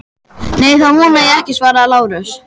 Nei, það vona ég ekki, svaraði Lárus.